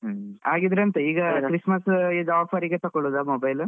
ಆಗಿದ್ರೆ ಎಂತ Christmas offer ಗೆ ತಗೋಳೋದ Mobile .